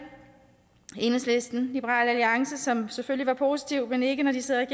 enhedslisten liberal alliance som selvfølgelig var positive men ikke når de sidder i